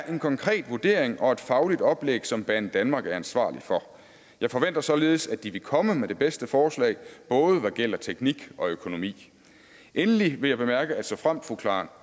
en konkret vurdering og et fagligt oplæg som banedanmark er ansvarlig for jeg forventer således at de vil komme med det bedste forslag både hvad gælder teknik og økonomi endelig vil jeg bemærke at såfremt fru karen